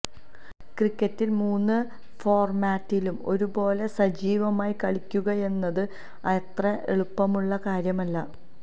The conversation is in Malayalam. ക്രിക്കറ്റിൽ മൂന്ന് ഫോർമാറ്റിലും ഒരു പോലെ സജീവമായി കളിക്കുകയെന്നത് അത്ര എളുപ്പമുള്ള കാര്യമല്ല